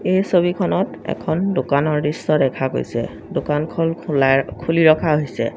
এই ছবিখনত এখন দোকানৰ দৃশ্য দেখা গৈছে দোকানখন খোলাই খুলি ৰখা হৈছে।